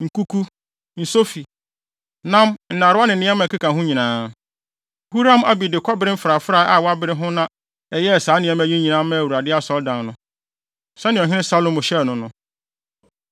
nkuku, nsofi, nam nnarewa ne nneɛma a ɛkeka ho nyinaa. Huram-Abi de kɔbere mfrafrae a wɔabere ho na ɛyɛɛ saa nneɛma yi nyinaa maa Awurade Asɔredan no, sɛnea Ɔhene Salomo hyɛɛ no no.